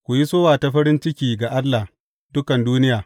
Ku yi sowa ta farin ciki ga Allah, dukan duniya!